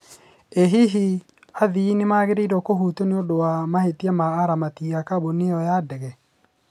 ĩ hihi, athii nĩmagĩrĩrwo kuhutio nĩũndũ wa mahĩtia ma aramati a kambuni ĩyo ya ndege ?